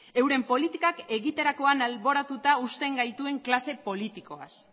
euren politikak egiterakoan alboratuta uzten gaituen klase politikoaz